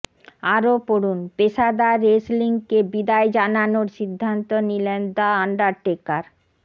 আরও পড়ুনঃপেশাদার রেসলিংকে বিদায় জানানোর সিদ্ধান্ত নিলেন দ্য আন্ডারটেকার